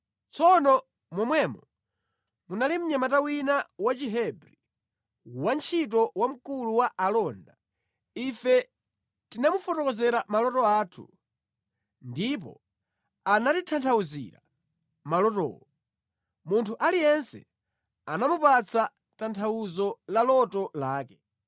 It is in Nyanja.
Tsono momwemo munali mnyamata wina Wachihebri, wantchito wa mkulu wa alonda. Ife tinamufotokozera maloto athu, ndipo anatitanthauzira malotowo. Munthu aliyense anamupatsa tanthauzo la loto lake.